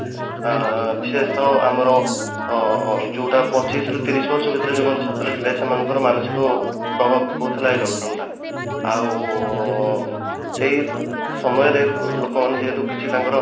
ଆଁ ବିଶେଷତଃ ଆମର ଅ ଯୋଉଟା ପଚିଶ ରୁ ତିରିଶ ଭିତରେ ଯୋଉ ମାନେ ଛାତ୍ର ଥିଲେ ସେମାନଙ୍କର ମାନସିକ ପ୍ରଭାବ କରୁଥିଲା ଏଇ lock down ଟା ଆଉ ସେଇ ସମୟରେ ଲୋକ ମାନେ ଯେହେତୁ କିଛି ତାଙ୍କର